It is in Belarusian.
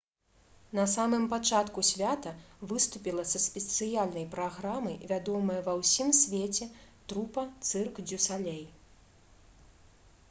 на самым пачатку свята выступіла са спецыяльнай праграмай вядомая ва ўсім свеце трупа «цырк дзю салей»